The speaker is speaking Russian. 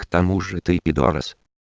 потому что ты педорас